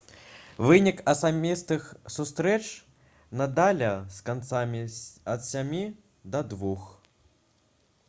вынік асабістых сустрэч надаля з канадцам 7-2